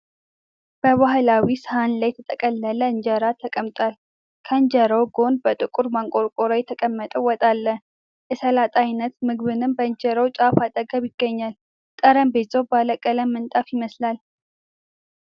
በባህላዊ ሰሃን ላይ የተጠቀለለ ኢንጄራ ተቀምጧል። ከኢንጄራው ጎን በጥቁር ማንቆርቆሪያ የተቀመጠ ወጥ አለ። የሰላጣ አይነት ምግብም በኢንጄራው ጫፍ አጠገብ ይገኛል። ጠረጴዛው ባለቀለም ምንጣፍ ይመስላል።